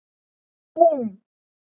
Búmm!